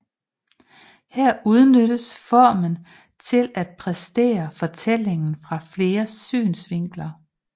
Her udnyttes formen til at præsentere fortællingen fra flere synsvinkler